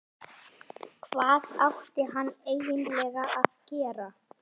Hvað átti hann eiginlega að gera?